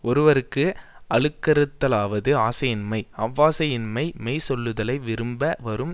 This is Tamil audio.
ஒருவர்க்கு அழுக்கறுத்தலாவது ஆசையின்மை அவ்வாசை யின்மை மெய் சொல்லுதலை விரும்ப வரும்